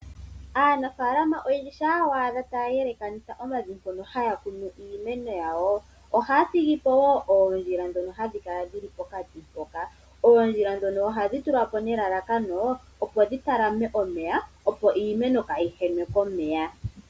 Aanafaalama yamwe shampa wa adha taya elekanitha omavi mpono haya kunu iimeno yawo. Ohaya thigipo woo oondjila ndhono hadhi kala dhili pokati mpoka. Oondjila ndhono ohadhi tulwapo nelalakano opo dhi talame omeya opo iimeno kaayi henwe komeya.